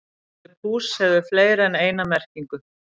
Orðið púss hefur fleiri en eina merkingu.